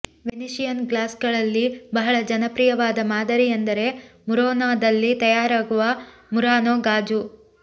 Venetian ಗ್ಲಾಸ್ಗಳಲ್ಲಿ ಬಹಳ ಜನಪ್ರಿಯವಾದ ಮಾದರಿಯೆಂದರೆ ಮುರಾನೋದಲ್ಲಿ ತಯಾರಾಗುವ ಮುರಾನೋ ಗಾಜು